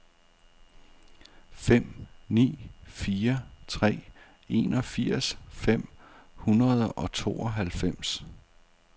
fem ni fire tre enogfirs fem hundrede og tooghalvfems